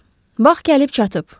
Vaxt gəlib çatıb.